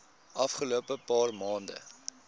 afgelope paar maande